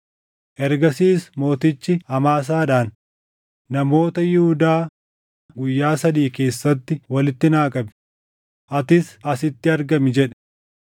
Ergasiis mootichi Amaasaadhaan, “Namoota Yihuudaa guyyaa sadii keessatti walitti naa qabi; atis asitti argami” jedhe.